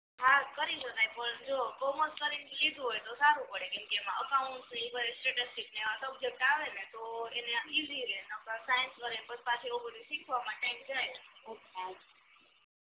હા કરી શકાય પણ જો કોમર્સ કરીને લીધું હોય તો સારું પડે કેમ કે એમા અકાઉંટ શિવાય સ્ટેટિસ્ટિક ને અધર સબ્જેક્ટ આવે ને તો એને ઈજી રેય નકર સાઇન્સ કરીને પછી પાછું એવું બધુ શિખવમા ટાઇમ જાય